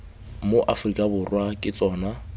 mo aforika borwa ke tsona